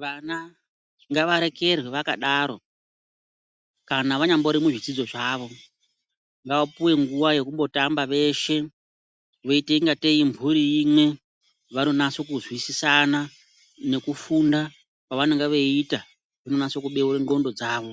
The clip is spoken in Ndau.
Vana ngavarekerwe vakadaro kana vanyambori muzvidzidzo zvavo. Ngavapuwe nguwa yekumbotambawo veshe, voita kungatei imhuri imwe vanonase kuzwisisana nekufunda kwavanenge veita kunonasa kubeure ndxondo dzavo